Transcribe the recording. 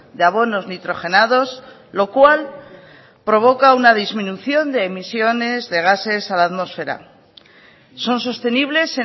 de abonos nitrogenados lo cual provoca una disminución de emisiones de gases a la atmosfera son sostenibles